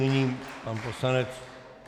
Nyní pan poslanec...